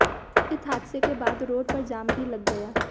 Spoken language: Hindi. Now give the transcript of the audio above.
इस हादसे के बाद रोड पर जाम भी लग गया